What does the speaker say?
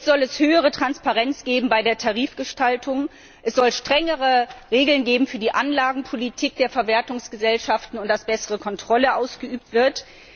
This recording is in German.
Jetzt soll es höhere Transparenz geben bei der Tarifgestaltung, es soll strengere Regeln geben für die Anlagenpolitik der Verwertungsgesellschaften, und es soll bessere Kontrolle ausgeübt werden.